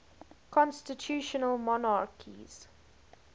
constitutional monarchies